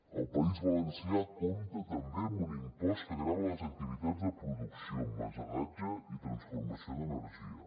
el país valencià compta també amb un impost que grava les activitats de producció emmagatzematge i transformació d’energia